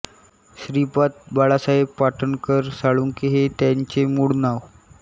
श्रीपाद बाळासाहेब पाटणकर साळुंखे हे त्यांचे मूळ नाव